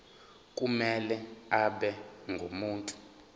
kumele abe ngumuntu